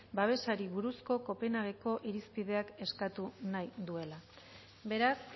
babesari buruzko copenhague ko irizpideak eskatu nahi duela beraz